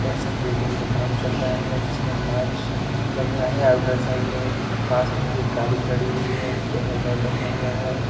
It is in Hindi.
बिल्डिंग पे काम चल रहा है जिसमे कांच लग रहा है आउटर साइड में पास में भी एक गाड़ी खड़ी हुई है इसपे हेलमेट रखा हुआ है।